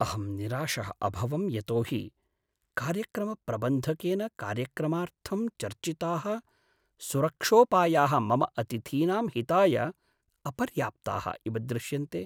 अहं निराशः अभवं यतो हि कार्यक्रमप्रबन्धकेन कार्यक्रमार्थं चर्चिताः सुरक्षोपायाः मम अतिथीनां हिताय अपर्याप्ताः इव दृश्यन्ते।